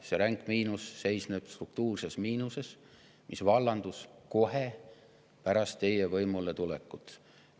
See ränk miinus seisneb struktuurses miinuses, mis vallandus kohe pärast teie võimuletulekut.